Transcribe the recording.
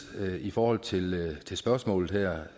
i forhold til til spørgsmålet her